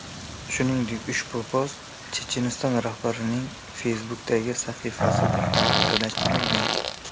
Shuningdek, ushbu post Checheniston rahbarining Facebook’dagi sahifasida ham joylashtirilgan .